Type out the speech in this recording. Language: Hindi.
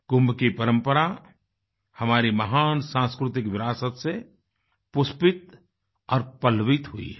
कुंभ की परम्परा हमारी महान सांस्कृतिक विरासत से पुष्पित और पल्लवित हुई है